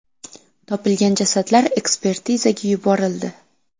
Topilgan jasadlar ekspertizaga yuborildi.